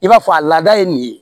I b'a fɔ a laada ye nin ye